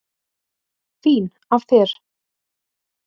Fín af þér.